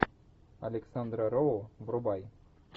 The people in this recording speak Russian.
александра роу врубай